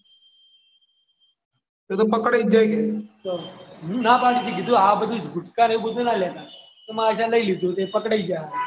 ના પાડી હતી કે આ બધું ગુટકાને બધું ના લેતા તોય માર દેના એ લઈ લીધું ને પકડાઈ ગયા તો તો પકડાઈ જ જાય ને